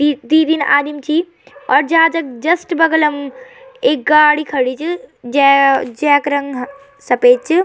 यी द्वि-तीन आदिम छी और जहाज क जस्ट बगल म एक गाडी खड़ीं च जे जैक रंग सपेद च।